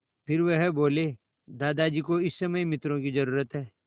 फिर वह बोले दादाजी को इस समय मित्रों की ज़रूरत है